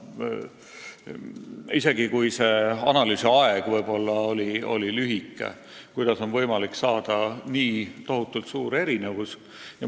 Isegi kui analüüsi aeg oli lühike, kuidas on võimalik saada nii tohutult erinevad summad?